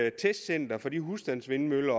et testcenter for de husstandsvindmøller